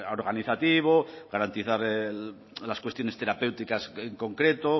organizativo garantizar las cuestiones terapéuticas en concreto